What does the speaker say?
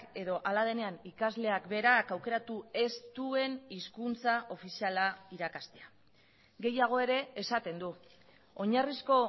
edo hala denean ikasleak berak aukeratu ez duen hizkuntza ofiziala irakastea gehiago ere esaten du oinarrizko